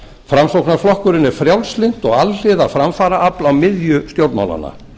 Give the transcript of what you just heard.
framsóknarflokkurinn er frjálslynt og alhliða framfaraafl á miðju stjórnmálanna